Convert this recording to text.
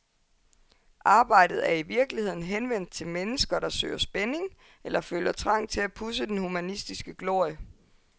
Arbejdet er i virkeligheden henvendt til mennesker, der søger spænding eller føler trang til at pudse den humanistiske glorie.